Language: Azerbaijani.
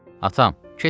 Atam, keçin gedin.